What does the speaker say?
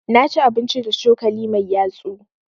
Na ci abinci da cokali mai yatsu.